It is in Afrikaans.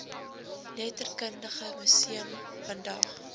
letterkundige museum vandag